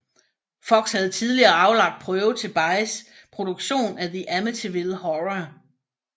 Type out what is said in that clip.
Fox havde tidligere aflagt prøve til Bays produktion af The Amityville Horror